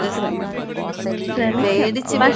അതെ ശ്രമിക്കാം. പക്ഷെ...